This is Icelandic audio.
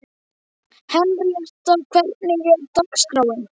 Henríetta, hvernig er dagskráin?